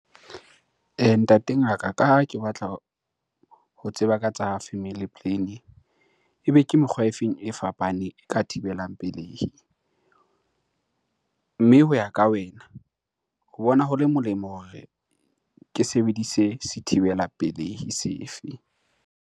Ntate ngaka, ka ha ke batla ho tseba ka tsa family planning. Ebe ke mekgwa e feng e fapaneng e ka thibelang pelehi? Mme ho ya ka wena ho bona ho le molemo hore ke sebedise sethibela pelehi sefe?